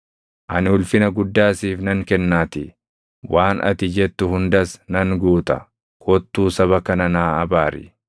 ani ulfina guddaa siif nan kennaatii; waan ati jettu hundas nan guuta. Kottuu saba kana naa abaari.’ ”